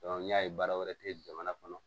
n'i y'a ye baara wɛrɛ tɛ jamana kɔnɔ